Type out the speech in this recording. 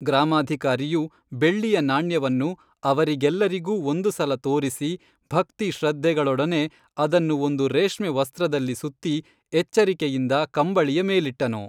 ಗ್ರಾಮಾಧಿಕಾರಿಯು ಬೆಳ್ಳಿಯ ನಾಣ್ಯವನ್ನು ಅವರಿಗೆಲ್ಲರಿಗೂ ಒಂದು ಸಲ ತೋರಿಸಿ ಭಕ್ತಿ ಶ್ರದ್ಧೆಗಳೊಡನೆ ಅದನ್ನು ಒಂದು ರೇಷ್ಮೆ ವಸ್ತ್ರದಲ್ಲಿ ಸುತ್ತಿ ಎಚ್ಚರಿಕೆಯಿಂದ ಕಂಬಳಿಯ ಮೇಲಿಟ್ಟನು